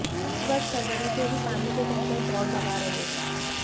इस वर्ष फरवरी से ही पानी के टैंकर दौड़ लगा रहे हैं